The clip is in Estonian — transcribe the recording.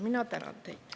Mina tänan teid.